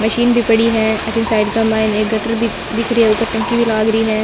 मशीन भी पड़ी है अथीन साइड के मैं गटर भी दीख रयो है ऊपर टंकी भी लाग री है।